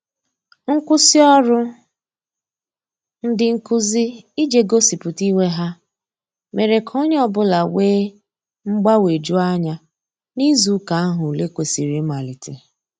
Nkwụsị ọrụ ndị nkụzi ije gosipụta iwe ha mere ka onye ọbụla wee mgbanweju anya n'izụ ụka ahu ụle kwesiri imalite